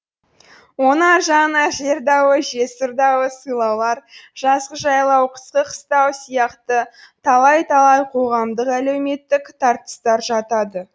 оның аржағына жер дауы жесір дауы сайлаулар жазғы жайлау қысқы қыстау сияқты талай талай қоғамдык әлеуметтік тартыстар жатады